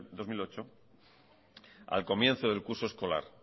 dos mil ocho al comienzo del curso escolar